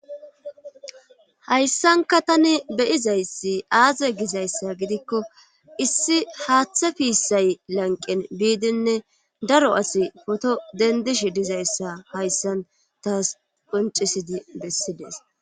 H1ayssanka tani beyizayssi aaze gizayssa gidikko issi haaththe piissay lanqen biidinne daro asi foto dendish dizayssa hayssan taas qoncisidi bessidees.